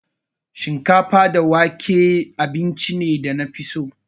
Shinkafa da wake da miyan ne abincin da na fi so.